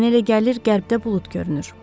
Mənə elə gəlir qərbdə bulud görünür.